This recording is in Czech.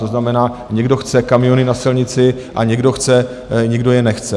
To znamená, někdo chce kamiony na silnici, a někdo chce, někdo je nechce.